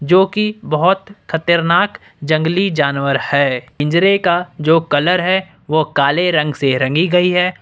जो की बहुत खतरनाक जंगली जानवर है पिंजरे का जो कलर है वो काले रंग से रंगी गई है।